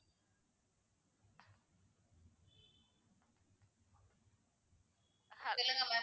சொல்லுங்க ma'am